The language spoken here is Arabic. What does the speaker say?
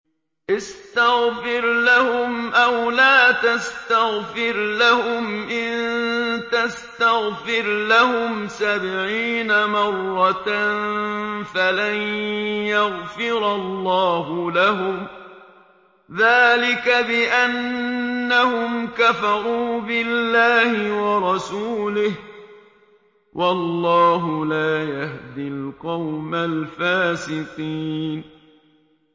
اسْتَغْفِرْ لَهُمْ أَوْ لَا تَسْتَغْفِرْ لَهُمْ إِن تَسْتَغْفِرْ لَهُمْ سَبْعِينَ مَرَّةً فَلَن يَغْفِرَ اللَّهُ لَهُمْ ۚ ذَٰلِكَ بِأَنَّهُمْ كَفَرُوا بِاللَّهِ وَرَسُولِهِ ۗ وَاللَّهُ لَا يَهْدِي الْقَوْمَ الْفَاسِقِينَ